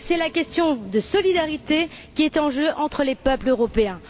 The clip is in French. C'est la question de la solidarité qui est en jeu entre les peuples européens.